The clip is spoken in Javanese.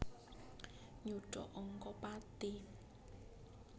Nyuda angka pati